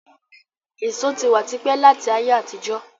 Èso tí wá típẹ̀ láti ayé àtijó